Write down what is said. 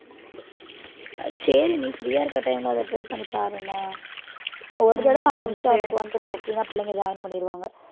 ஆஹ் சரி நீ free யா இருக்க time ல அதை try பண்ணி பாருன்னு ஒரு தடவை ஆரம்பிச்சிட்டா உனக்கு வந்துரும் சின்ன பிள்ளைங்க join பண்ணிடுவாங்க